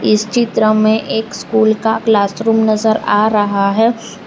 इस चित्र में एक स्कूल का क्लासरूम नजर आ रहा है।